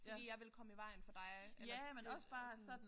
Fordi jeg ville komme i vejen for dig eller det er sådan